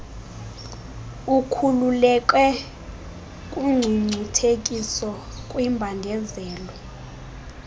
ukhululeke kungcungcuthekiso kwimbandezelo